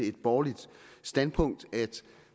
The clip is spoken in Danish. et borgerligt standpunkt at